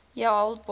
year old boy